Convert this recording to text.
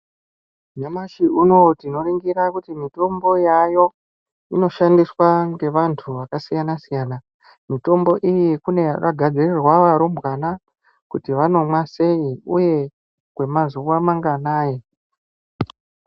Nyamshi unou tinoningira kuti mitombo yaayo inoshandiswa ngevantu vakasiyana-siyana mutombo iyi kune yakagadzirirwa varumbwana kuti vanomwa sei uye kwemazuwa manganai.